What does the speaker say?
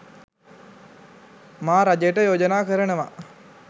මා රජයට යෝජනා කරනවා